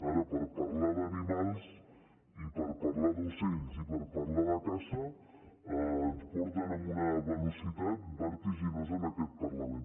ara per parlar d’animals i per parlar d’ocells i per parlar de caça ens porten a una ve·locitat vertiginosa en aquest parlament